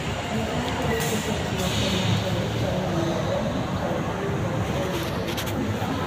gimkmakelo cases moko mag hereditary angioedema type III ok ong'ere